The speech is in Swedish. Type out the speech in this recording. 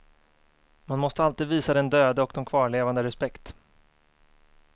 Man måste alltid visa den döde och de kvarlevande respekt.